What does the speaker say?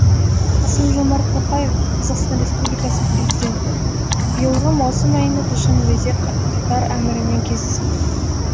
қасым жомарт тоқаев қазақстан республикасының президенті биылғы маусым айында душанбеде катар әмірімен кездестім